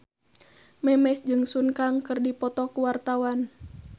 Memes jeung Sun Kang keur dipoto ku wartawan